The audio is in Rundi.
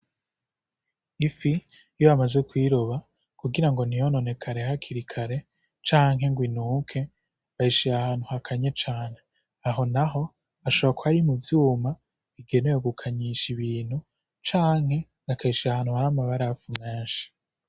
Ifi iyo bamaze kuyiroba kugira ngo ntiyononekare canke ngo inuke, bayishira ahantu hakanye cane. Aho naho hashobora kuba ari mu vyuma bigenewe gukanyisha ibintu canke bakayishira ahantu hari amabarafu menshi.